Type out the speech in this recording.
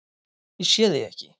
Ég sé þig ekki.